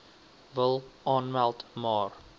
wil aanmeld maar